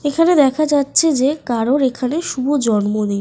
এখানে দেখা যাচ্ছে যে কারোর এখানে শুভ জন্মদিন।